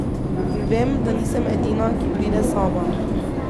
In vem, da nisem edina, ki pride sama.